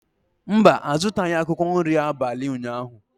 Mba, a zụtaghị akwụkwọ nri abalị ụnyahụ.